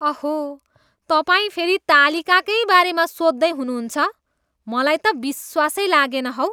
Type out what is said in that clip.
अहो, तपाईँ फेरि तालिकाकै बारेमा सोध्दै हुनुहुन्छ! मलाई त विश्वासै लागेन हौ।